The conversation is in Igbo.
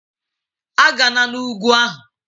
A gana n'ugwu ahụ!